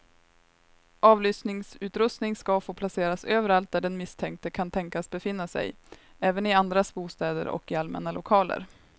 Avlyssningsutrustning ska få placeras överallt där den misstänkte kan tänkas befinna sig, även i andras bostäder och i allmänna lokaler.